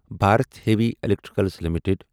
Bharat Heavy Electrical limited